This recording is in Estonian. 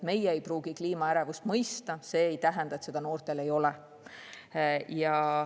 Meie ei pruugi kliimaärevust mõista, aga see ei tähenda, et noortel seda ei ole.